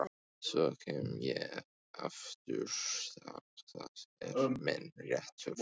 Svo kem ég aftur, það er minn réttur.